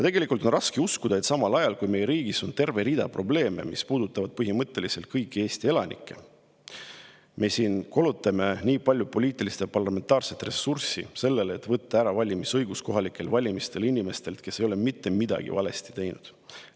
Tegelikult on raske uskuda, et samal ajal, kui meie riigis on terve rida probleeme, mis puudutavad põhimõtteliselt kõiki Eesti elanikke, meie siin kulutame nii palju poliitilist ja parlamentaarset ressurssi sellele, et võtta kohalikel valimistel valimisõigus ära inimestelt, kes ei ole mitte midagi valesti teinud.